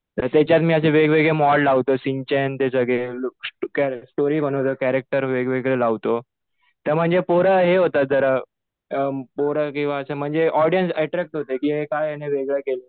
त्याच्यात मी असे वेगवेगळे मॉड लावतो. शिन चॅन ते सगळे लूक्स टुकार, स्टोरी बनवतो. कॅरेक्टर वेगवेगळं लावतो. तर म्हणजे पोरं हे होतात जरा. पोरं किंवा असं म्हणजे ऑडियन्स अट्रॅक्ट होते कि काय याने वेगळं केलंय.